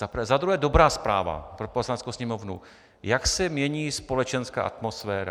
Za druhé dobrá zpráva pro Poslaneckou sněmovnu, jak se mění společenská atmosféra.